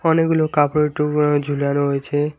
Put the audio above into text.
অনেকগুলো কাপড়ের টুকরো ঝোলানো হয়েছে।